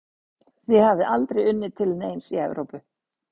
Þið hafið aldrei unnið til neins í Evrópu?